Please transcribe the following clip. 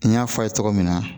N y'a fɔ a ye cogo min na